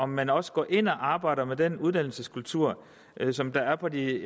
man også går ind og arbejder med den uddannelseskultur som der er på de